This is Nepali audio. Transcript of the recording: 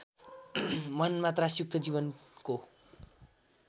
मनमा त्रासयुक्त जीवनको